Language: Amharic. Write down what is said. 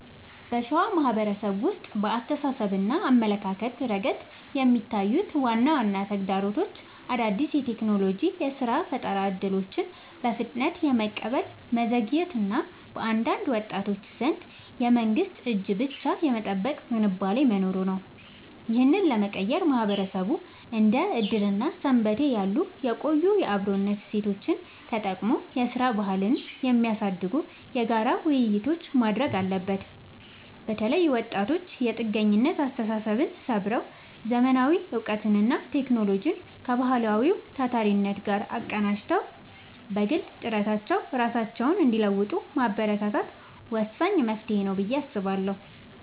በሸዋ ማህበረሰብ ውስጥ በአስተሳሰብና አመለካከት ረገድ የሚታዩት ዋና ዋና ተግዳሮቶች አዳዲስ የቴክኖሎጂና የሥራ ፈጠራ እድሎችን በፍጥነት የመቀበል መዘግየት እና በአንዳንድ ወጣቶች ዘንድ የመንግስትን እጅ ብቻ የመጠበቅ ዝንባሌ መኖሩ ነው። ይህንን ለመቀየር ማህበረሰቡ እንደ ዕድርና ሰንበቴ ያሉ የቆዩ የአብሮነት እሴቶቹን ተጠቅሞ የሥራ ባህልን የሚያሳድጉ የጋራ ውይይቶችን ማድረግ አለበት። በተለይ ወጣቶች የጥገኝነት አስተሳሰብን ሰብረው: ዘመናዊ እውቀትንና ቴክኖሎጂን ከባህላዊው ታታሪነት ጋር አቀናጅተው በግል ጥረታቸው ራሳቸውን እንዲለውጡ ማበረታታት ወሳኝ መፍትሄ ነው ብዬ አስባለሁ።